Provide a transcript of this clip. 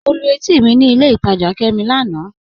Mọ̀ lú ètì mi ní ilẹ̀ ìtajá Kẹ́mí lánà.